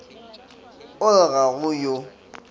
o re ga go yo